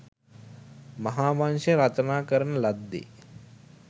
මහා වංශය රචනා කරන ලද්දේ